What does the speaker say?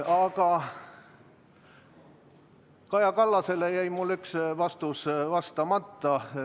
Aga Kaja Kallasele jäi mul üks vastus andmata.